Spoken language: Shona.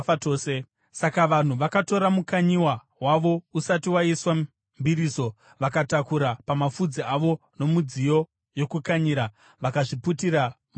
Saka vanhu vakatora mukanyiwa wavo usati waiswa mbiriso, vakatakura pamapfudzi avo mumidziyo yokukanyira vakazviputira mumicheka.